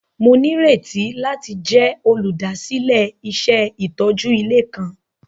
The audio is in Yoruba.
Mo nírètí láti jẹ olúdásílẹ̀ iṣẹ itójú ilé kan.